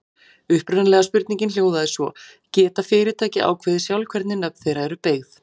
Upprunalega spurningin hljóðaði svo: Geta fyrirtæki ákveðið sjálf hvernig nöfn þeirra eru beygð?